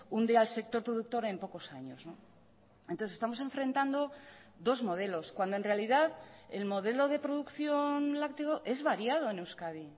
hunde al sector productor en pocos años entonces estamos enfrentando dos modelos cuando en realidad el modelo de producción lácteo es variado en euskadi